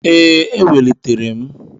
Ee, ewelitere m.